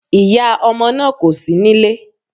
Ìyá ọmọ náà kò sí nílé